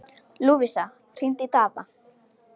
Lúvísa, hringdu í Daða.